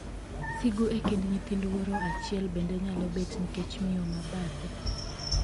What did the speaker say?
Sigu e kind nyithind wuoro achiel bende nyalo bet nikech miyo ma bathe.